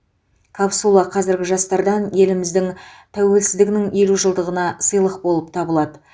капсула қазіргі жастардан еліміз тәуелсіздігінің елу жылдығына сыйлық болып табылады